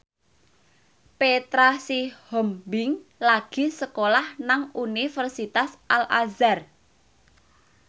Petra Sihombing lagi sekolah nang Universitas Al Azhar